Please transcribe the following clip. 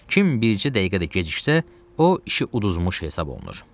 Kim bircə dəqiqə də geciksə, o işi uduzmuş hesab olunur.